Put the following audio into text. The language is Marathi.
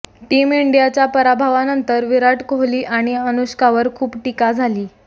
टीम इंडियाच्या पराभवानंतर विराट कोहली आणि अनुष्कावर खूप टीका झाली